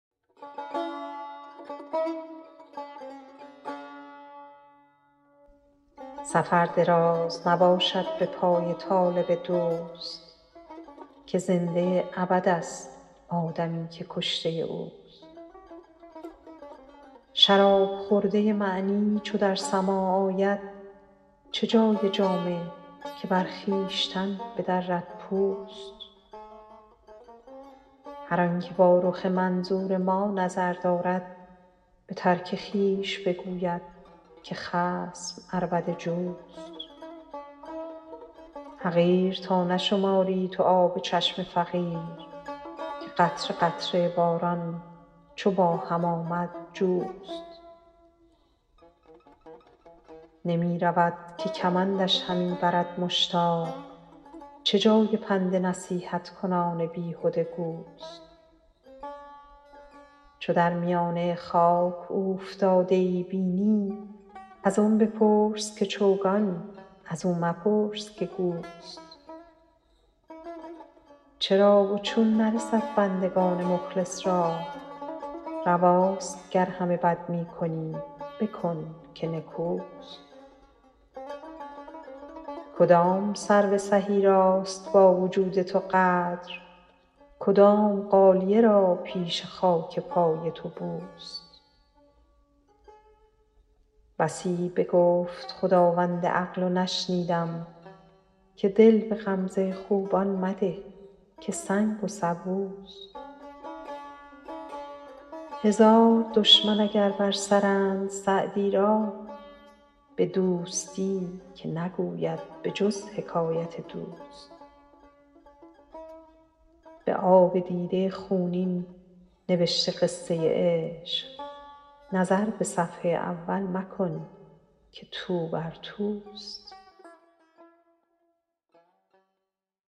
سفر دراز نباشد به پای طالب دوست که زنده ابدست آدمی که کشته اوست شراب خورده معنی چو در سماع آید چه جای جامه که بر خویشتن بدرد پوست هر آن که با رخ منظور ما نظر دارد به ترک خویش بگوید که خصم عربده جوست حقیر تا نشماری تو آب چشم فقیر که قطره قطره باران چو با هم آمد جوست نمی رود که کمندش همی برد مشتاق چه جای پند نصیحت کنان بیهده گوست چو در میانه خاک اوفتاده ای بینی از آن بپرس که چوگان از او مپرس که گوست چرا و چون نرسد بندگان مخلص را رواست گر همه بد می کنی بکن که نکوست کدام سرو سهی راست با وجود تو قدر کدام غالیه را پیش خاک پای تو بوست بسی بگفت خداوند عقل و نشنیدم که دل به غمزه خوبان مده که سنگ و سبوست هزار دشمن اگر بر سرند سعدی را به دوستی که نگوید به جز حکایت دوست به آب دیده خونین نبشته قصه عشق نظر به صفحه اول مکن که توبر توست